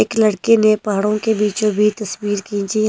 एक लड़के ने पहाड़ों के बीचों-बीच तस्वीर खींची है।